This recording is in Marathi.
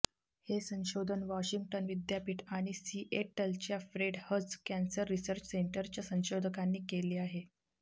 हे संशोधन वॉशिंग्टन विद्यापीठ आणि सिएटलच्या फ्रेड हच कॅन्सर रिसर्च सेंटरच्या संशोधकांनी केले आहे